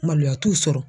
Maloya t'u sɔrɔ